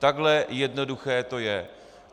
Takhle jednoduché to je.